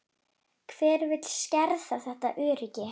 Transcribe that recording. Hver vill skerða þetta öryggi?